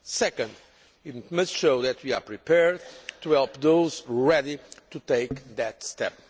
second, it must show that we are prepared to help those ready to take that step.